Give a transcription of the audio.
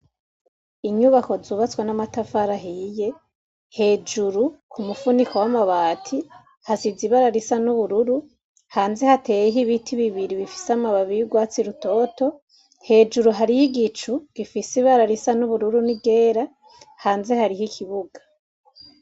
Inyubako zubatswa n'amatafarahiye hejuru ku mupfuniko w'amabati hasiza ibara risa n'ubururu hanze hateho ibiti bibiri bifise amababiy'urwatsi rutoto hejuru hariho igicu gifise ibara risa n'ubururu ni gera hanze hariho ikibuga.